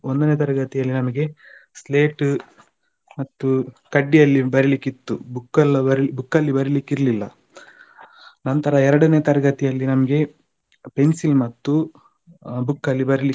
ಒಂದನೇ ತರಗತಿಯಲ್ಲಿ ನಮಗೆ ಸ್ಲೇಟು ಮತ್ತು ಕಡ್ಡಿಯಲ್ಲಿ ಬರೀಲಿಕ್ಕೆ ಇತ್ತು book ಅಲ್ಲ book ಅಲ್ಲಿ ಬರೀಲಿಕ್ಕೆ ಇರ್ಲಿಲ್ಲ ನಂತರ ಎರಡನೇ ತರಗತಿಯಲ್ಲಿ ನಮಗೆ pencil ಮತ್ತು book ಅಲ್ಲಿ ಬರೀಲಿಕ್ಕೆ